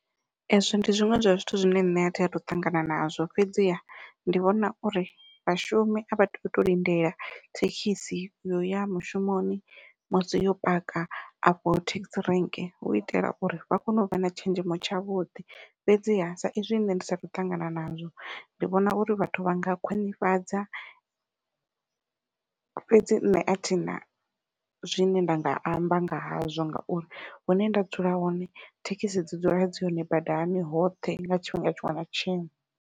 Ezwo ndi zwiṅwe zwa zwithu zwine nṋe athi athu ṱangana nazwo fhedziha ndi vhona uri vhashumi a vha tei utou lindela thekhisi yo ya mushumoni musi yo paka afho thekhisi rank hu itela uri vha kone u vha na tshenzhemo tshavhuḓi fhedziha sa izwi nṋe ndi sathu ṱangana nazwo ndi vhona uri vhathu vha nga khwiṋifhadza fhedzi nṋe athina zwine nda nga amba nga hazwo ngauri hune nda dzula hone thekhisi dzi dzula dzi hone badani hoṱhe nga tshifhinga tshiṅwe na tshiṅwe.